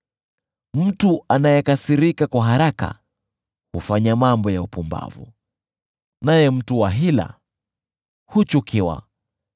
Mtu anayekasirika kwa haraka hufanya mambo ya upumbavu, naye mtu wa hila huchukiwa.